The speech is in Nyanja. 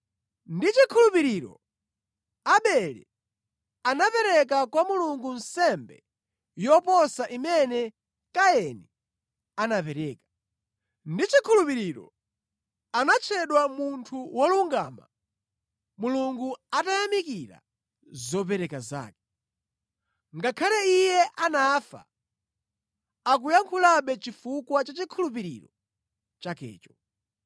Ndi chikhulupiriro Abele anapereka kwa Mulungu nsembe yoposa imene Kaini anapereka. Ndi chikhulupiriro anatchedwa munthu wolungama Mulungu atayamikira zopereka zake. Ngakhale iye anafa, akuyankhulabe chifukwa cha chikhulupiriro chakecho.